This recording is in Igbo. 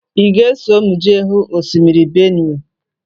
Ị ga-eso m jee hụ osimiri Benue?